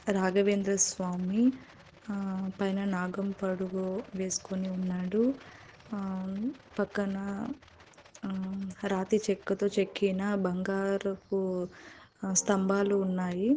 రాఘవేంద్ర స్వామి ఆ పైన నాగం పడుగు వేసుకొని ఉన్నాడు. ఆ పక్కన ఆ రాతి చెక్కతో చెక్కిన బంగారపు స్తంభాలు ఉన్నాయి.